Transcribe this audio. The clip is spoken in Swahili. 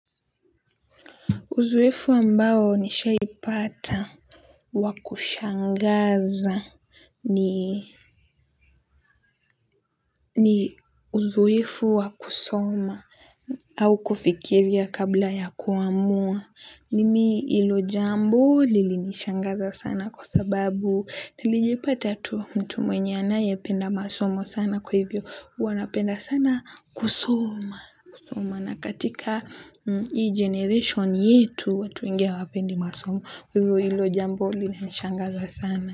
Uzoefu ambao nishaipata wa kushangaza ni uzoefu wa kusoma au kufikiria kabla ya kuamua. Mimi hilo jambo lilinishangaza sana kwa sababu nilijipata tu mtu mwenye anayependa masomo sana kwa hivyo. Huwa napenda sana kusoma, kusoma na katika hii generation yetu watu wengi hawapendi masomo. Kwa hivyo hilo jambo lilinishangaza sana.